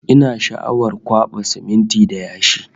Ina sha'awar kwaɓa siminti da yashi